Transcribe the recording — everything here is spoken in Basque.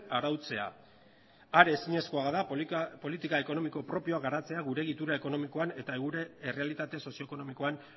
arautzea are ezinezkoa da politika ekonomiko propioa garatzea gure egitura ekonomikoan eta gure errealitate sozio ekonomikoan